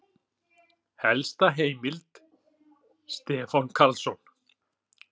Helsta heimild: Stefán Karlsson.